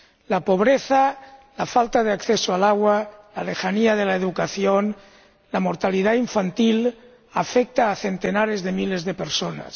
La pobreza, la falta de acceso al agua, la lejanía de la educación y la mortalidad infantil afectan a centenares de miles de personas.